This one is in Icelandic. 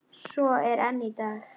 Svo er enn í dag.